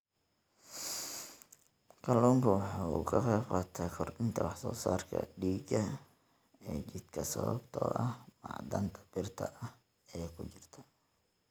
Kalluunku waxa uu ka qaybqaataa kordhinta wax soo saarka dhiigga ee jidhka sababtoo ah macdanta birta ah ee ku jirta.